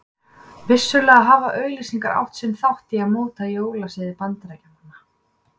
Vissulega hafa auglýsingar átt sinn þátt í að móta jólasiði Bandaríkjamanna.